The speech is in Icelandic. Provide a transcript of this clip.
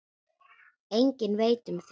Enginn veit um þau.